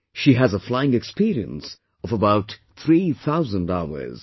She has a flying experience of about 3000 hours